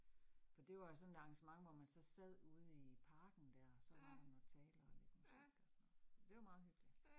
For det var jo sådan et arrangement, hvor man så sad ude i parken dér, så var der noget taler og lidt musik og sådan noget. Så det var meget hyggeligt